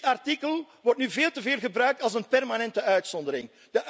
Dit artikel wordt nu veel te veel gebruikt als een permanente uitzondering.